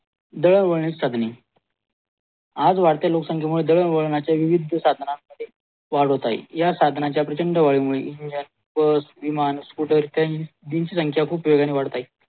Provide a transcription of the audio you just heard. दळणवळणाची साधने आज वाढत्या लोकसंख्यामुळे दळणवळणाच्या विविध साधनांमध्ये वाढ होत आहे या साधनांच्या प्रचंड वायूमुळे बस विमान स्कूटर इत्यादींची संख्या खूब वेगाने वाढत आहे